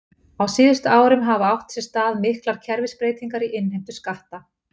Á síðustu árum hafa átt sér stað miklar kerfisbreytingar í innheimtu skatta.